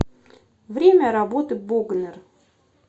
время работы богнэр